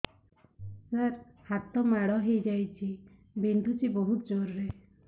ସାର ହାତ ମାଡ଼ ହେଇଯାଇଛି ବିନ୍ଧୁଛି ବହୁତ ଜୋରରେ